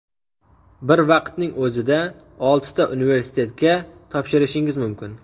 Bir vaqtning o‘zida oltita universitetga topshirishingiz mumkin.